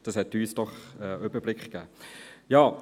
Diese haben uns doch einen Überblick gegeben.